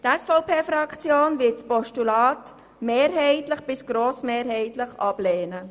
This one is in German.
Die SVP-Fraktion wird das Postulat mehrheitlich bis grossmehrheitlich ablehnen.